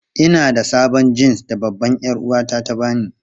Ina da sabon jins da babbar 'yar'uwata ta ba ni.